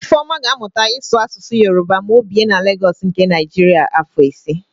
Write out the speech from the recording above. Ifeọma ga-amụta ịsụ Asụsụ Yoroba ma o bie na Legọs nke Naịjiria afọ ise.